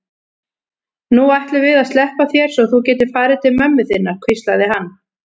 Nú ætlum við að sleppa þér svo þú getir farið til mömmu þinnar, hvíslaði hann.